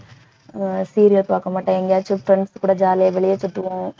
ஆஹ் serial பாக்க மாட்டோம் எங்கயாச்சும் friends கூட jolly ஆ வெளியே சுத்துவோம்